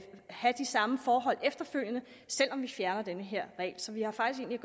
have de samme forhold efterfølgende selv om vi fjerner den her regel så vi har faktisk